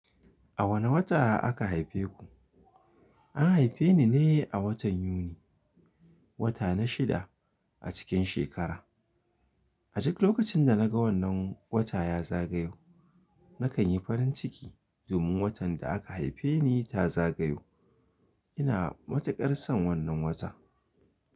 A wane wata aka haife ku? An haife ni ne a watan Yuni, wata na shida a cikin shekara. A duk lokacin da na ga wannan wata ya zagayo, na kan yi farin ciki domin watan da aka haife ni ta zagayo. Ina matuƙar son wannan wata.